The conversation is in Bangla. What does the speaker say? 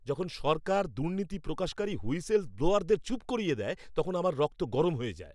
যখন সরকার দুর্নীতি প্রকাশকারী হুইসেল ব্লোয়ারদের চুপ করিয়ে দেয় তখন আমার রক্ত গরম হয়ে যায়।